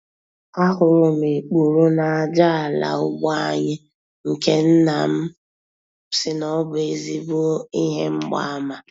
A hụrụ m ikpuru n'aja ala ugbo anyị nke nna m sị na ọ bụ ezigbo ihe mgbaàmà.